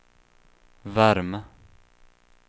värme